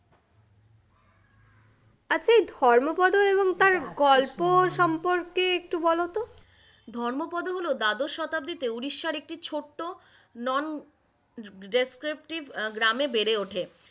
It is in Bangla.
এই ধর্মোপদ এবং তার গল্প সম্পর্কে একটু বল তো, ধর্মোপদ হল দাদশ শতাব্দী তে উড়িষ্যার একটি ছোট্ট non descriptive গ্রামে বেড়ে ওঠে,